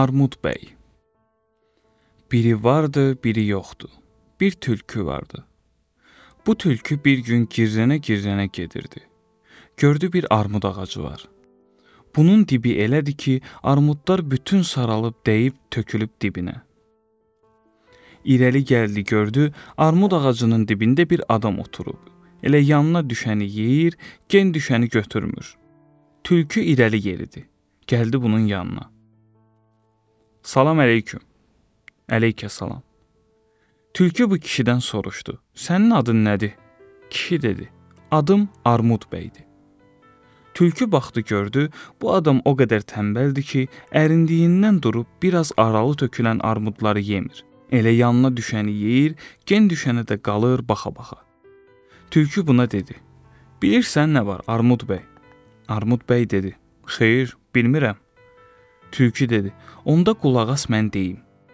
Onda qulaq as, mən deyim.